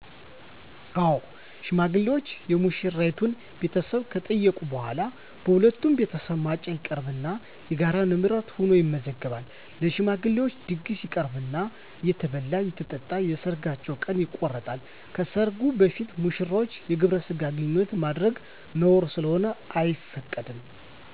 አዎ ሽማግሌዎች የሙሽራይቱን ቤተሰቦች ከጠየቁ በኋላ በሁለቱም ቤተሰብ ማጫ ይቀርብና የጋራ ንብረት ሁኖ ይመዘገባል። ለሽማግሌዎች ድግስ ይቀርብና እየተበላ አየተጠጣ የሰርጋቸው ቀን ይቆረጣል። ከሰርግ በፊት ሙሽሮች የግብረ ስጋ ግንኙነት ማድረግ ነውር ስለሆነ አይፈቀድም።